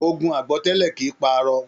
Ogun àgbọ́tẹlẹ́ kìí pá arọ.